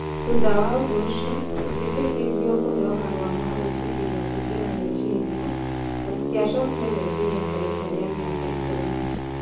Thuutha wa ũndũ ũcio, tũtietĩkĩrirũo kũheo marua ma gwĩtĩkĩrio kũingĩra Nigeria na tũtiacokire Nigeria kwa ihinda rĩa mĩaka ikũmi.